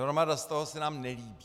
Hromada z toho se nám nelíbí.